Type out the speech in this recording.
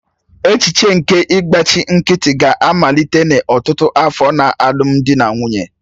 Echiche nke ịgbachi nkịtị ga-amalite n'ọtụtụ afọ na alụmdi na nwunye.